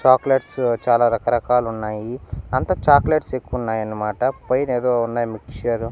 chocolates చాలా రకరకాలున్నాయి అంత చాక్లెట్స్ ఎక్కువున్నాయన్నమాట పైనేదో ఉన్నాయి మిక్సరు --